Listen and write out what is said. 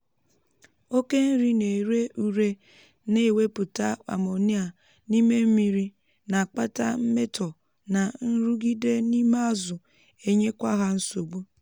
oke nri na-èré ùré na-ewepụta ammonia n'ime mmiri na-akpata mmetọ na nrụgide n’ime azụ enyekwa ha nsogbu